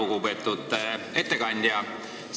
Väga lugupeetud ettekandja!